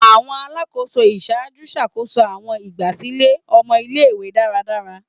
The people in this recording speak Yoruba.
Awọn Alakoso iṣaaju ṣakoso awọn igbasilẹ ọmọ ile-iwe daradara